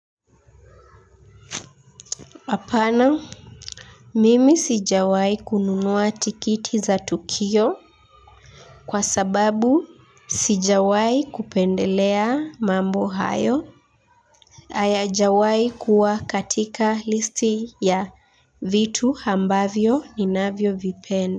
Hapana, mimi sijawahi kununua tikiti za tukio kwa sababu sijawai kupendelea mambo hayo hayajawahi kuwa katika listi ya vitu ambavyo ninavyovipen.